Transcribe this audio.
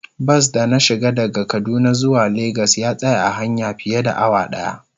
Bas da na shiga daga kaduna zuwa lagos ya tsaya a hanya fiye da awa daya.